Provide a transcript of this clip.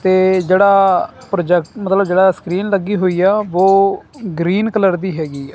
ਤੇ ਜੇਹੜਾ ਪ੍ਰੋਜੈਕਟ ਮਤਲਬ ਜੇਹੜਾ ਸਕ੍ਰੀਨ ਲੱਗੀ ਹੋਈ ਹੈ ਵੋ ਗਰੀਨ ਕਲਰ ਦੀ ਹੈਗੀ ਹੈ।